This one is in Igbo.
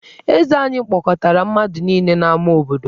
Eze anyị kpọkọtara mmadụ niile n’ámá obodo.